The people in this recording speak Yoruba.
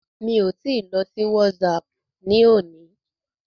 Mi ò tí I lọ sí WhatsApp ní òní.